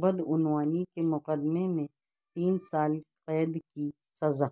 بدعنوانی کے مقدمے میں تین سال قید کی سزا